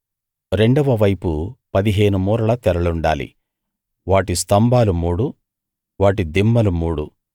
రెండవ వైపు పదిహేను మూరల తెరలుండాలి వాటి స్తంభాలు మూడు వాటి దిమ్మలు మూడు